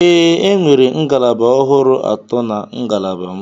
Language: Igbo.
Ee, enwere ngalaba ọhụrụ atọ na ngalaba m.